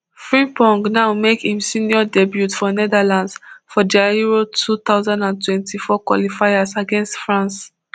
frimpong now make im senior debut for netherlands for dia euro two thousand and twenty-four qualifiers against france